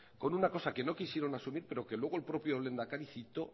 con una cosa que no quisieron asumir pero que luego el propio lehendakari citó